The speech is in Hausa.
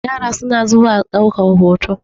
yara suna zuwa daukar hoto